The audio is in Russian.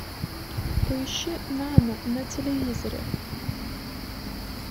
поищи нано на телевизоре